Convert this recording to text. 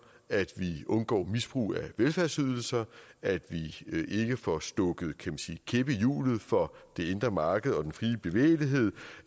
at vi undgår misbrug af velfærdsydelser at vi ikke får stukket en kæp i hjulet for det indre marked og den frie bevægelighed